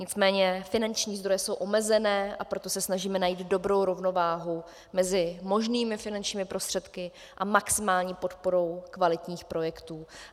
Nicméně finanční zdroje jsou omezené, a proto se snažíme najít dobrou rovnováhu mezi možnými finančními prostředky a maximální podporou kvalitních projekt.